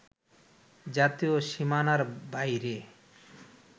জাতীয় সীমানার বাইরে